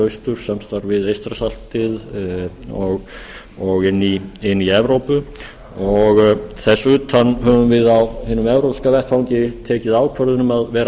austurs samstarf við eystrasaltið og inn í evrópu þess utan höfum við á hinum evrópska vettvangi tekið ákvörðun um að vera